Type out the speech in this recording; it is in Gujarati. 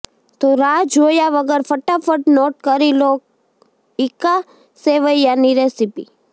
તો રાહ જોયા વગર ફટાફટ નોટ કરી લો ઈક્કા સેવૈયાની રેસિપી